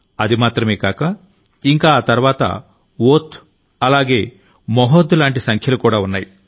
అది మాత్రమే కాక ఇంకా ఆ తర్వాత ఓధ్ అలాగే మహోధ్ లాంటి సంఖ్యలు కూడా ఉన్నాయి